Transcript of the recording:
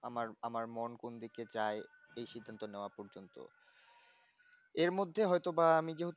আমার আমার মন কোন দিকে যায় সেই সিদ্ধান্ত নেওয়া পর্যন্ত এর মধ্যে হয়তোবা আমি যেহেতু